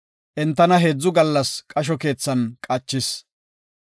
Entana heedzu gallas qasho keethan qachis.